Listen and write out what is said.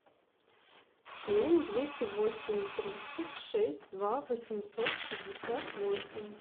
семь двести восемь тридцать шесть два восемьсот шестьдесят восемь